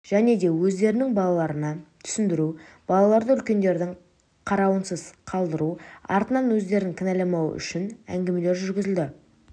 және де өздерінің балаларына түсіндіру балаларды үлкендердің қарауынсыз қалдыру артынан өздерін кінәламауы үшін әңгімелер жүргізілді